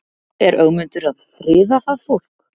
Er Ögmundur að friða það fólk?